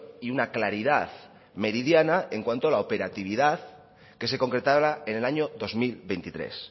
y una claridad meridiana en cuanto a la operatividad que se concretara en el año dos mil veintitrés